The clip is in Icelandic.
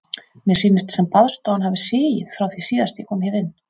Mér sýnist sem baðstofan hafi sigið frá því síðast ég kom hér inn.